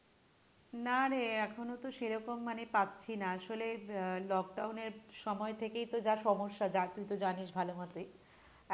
না রে এখনো তো সে রকম মানে পাচ্ছি না আসলে আহ lockdown এর সময় থেকেই তো যা সমস্যা যা তুই তো জানিস ভালো মতই